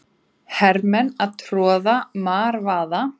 Hermenn að troða marvaða.